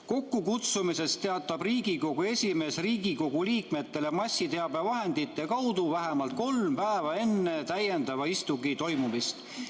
Kokkukutsumisest teatab Riigikogu esimees Riigikogu liikmetele massiteabevahendite kaudu vähemalt kolm päeva enne täiendava istungi toimumist.